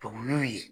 Tɔmɔ ye